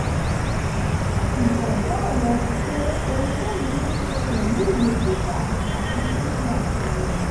ìgbàgbọ́ rẹ̀ ni pé ohun tẹ̀mí ní ṣe pẹ̀lú ìwé-kíkà àti ṣíṣe àṣàrò